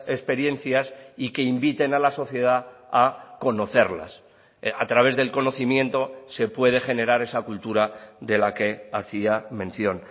experiencias y que inviten a la sociedad a conocerlas a través del conocimiento se puede generar esa cultura de la que hacía mención